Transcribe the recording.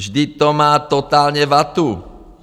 Vždyť to má totálně vatu!